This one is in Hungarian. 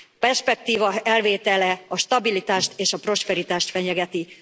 A perspektíva elvétele a stabilitást és a prosperitást fenyegeti.